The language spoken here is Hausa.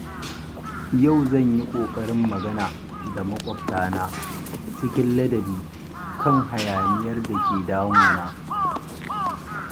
Yau zan yi ƙoƙarin magana da maƙwabtana cikin ladabi kan hayaniyar da ke damuna.